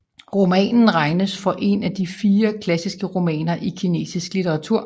Romanen regnes for en af de De fire klassiske romaner i kinesisk litteratur